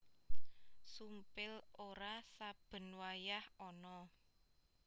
Sumpil ora saben wayah ana